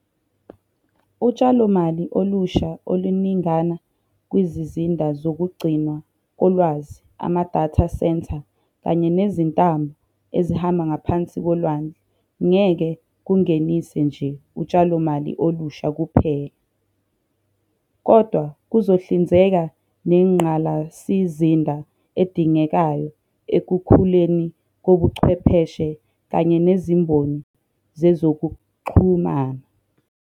Utshalomali olusha oluningana kwizizinda zokugcinwa kolwazi ama-data centre kanye nezintambo ezihamba ngaphansi kolwandle ngeke kungenise nje utshalomali olusha kuphela, kodwa kuzohlinzeka nengqalasizinda edingekayo ekukhuleni kobuchwepheshe kanye nezimboni zezokuxhu mana.